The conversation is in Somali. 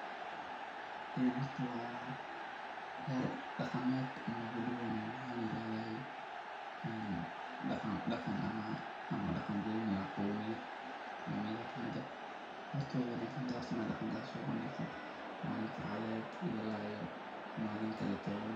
Horta waa ciyar dagamed wuxuu matalayaa munaasabad bulsho oo ka dhacaysa deegaan miyi ah, halkaas oo dadku u safan yihiin si nidaamsan. Waxaa laga dareemi karaa is-dhexgalka bulshada, ixtiraamka dhaqanka, iyo dadaalka lagu muujinayo wadajirka iyo wacyigelinta. Dharka dhaqameed ee qaar ka mid ah haweenka ay xiran yihiin wuxuu muujinayaa aqoonsi dhaqan iyo malin farxad iyo malinkalabo.